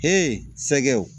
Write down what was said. sɛgɛw